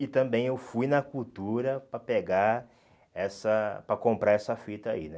E também eu fui na cultura para pegar essa... Para comprar essa fita aí, né?